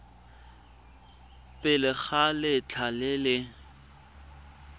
pele ga letlha le le